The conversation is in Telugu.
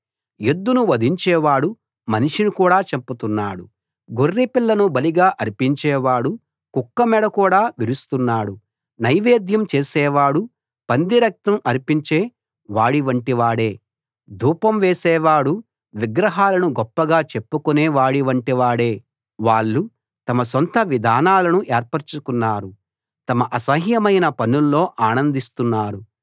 ఎద్దును వధించేవాడు మనిషిని కూడా చంపుతున్నాడు గొర్రెపిల్లను బలిగా అర్పించే వాడు కుక్క మెడ కూడా విరుస్తున్నాడు నైవేద్యం చేసేవాడు పందిరక్తం అర్పించే వాడి వంటివాడే ధూపం వేసేవాడు విగ్రహాలను గొప్పగా చెప్పుకునే వాడివంటి వాడే వాళ్ళు తమ సొంత విధానాలను ఏర్పరచుకున్నారు తమ అసహ్యమైన పనుల్లో ఆనందిస్తున్నారు